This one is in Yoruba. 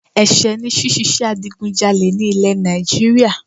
Ẹ̀sẹ̀ ni ṣíṣe adigunjalè ní ilẹ̀ Nàìjíríà